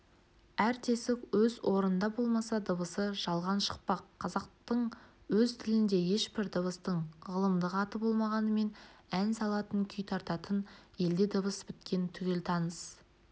әр тесік өз орнында болмаса дыбысы жалған шықпақ қазақтың өз тілінде ешбір дыбыстың ғылымдық аты болмағанымен ән салатын күй тартатын елде дыбыс біткен түгел таныс